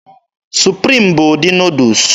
Supriim bụ ụdị Nuudus.